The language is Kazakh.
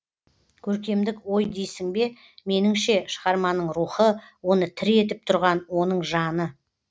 көркемдік ой дейсің бе меніңше шығарманың рухы оны тірі етіп тұрған оның жаны